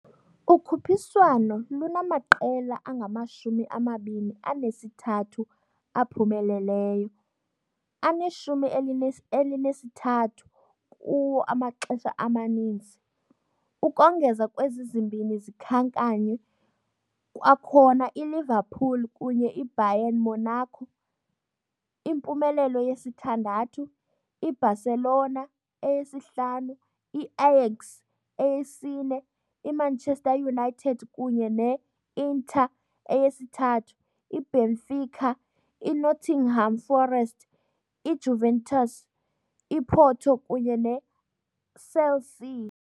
Ukhuphiswano lunamaqela angamashumi amabini anesithathu aphumeleleyo, aneshumi elinesithathu kuwo amaxesha amaninzi - ukongeza kwezi zimbini zikhankanywe, kwakhona ILiverpool kunye IBayern Monaco, impumelelo ye-6, IBarcelona, eye-5, IAyax, eye-4, IManchester united kunye ne-Inter, eye-3, IBenfica, INottingham forest, IJuventus, IPorto kunye ne ICelsea.